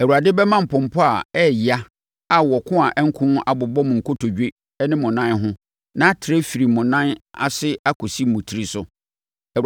Awurade bɛma mpɔmpɔ a ɛyɛ ya a wɔko a ɛnko abobɔ mo kotodwe ne mo nan ho na atrɛ afiri mo nan aseɛ akɔsi mo tiri so.